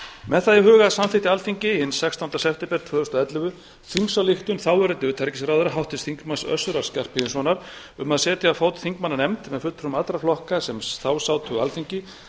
með það í huga samþykkti alþingi hinn sextánda september tvö þúsund og ellefu þingsályktun þáverandi utanríkisráðherra háttvirts þingmanns össurar skarphéðinssonar um að setja á fót þingmannanefnd með fulltrúum allra flokka sem þá sátu á alþingi